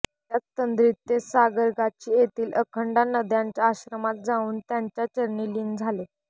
त्याच तंद्रीत ते सारगाछी येथील अखंडानंदांच्या आश्रमात जाऊन त्यांच्या चरणी लीन झाले